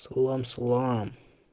салам салам